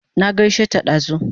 Na gaishe ta dazu